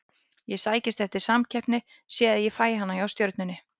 Ég sækist eftir samkeppni og sé að ég fæ hana hjá Stjörnunni.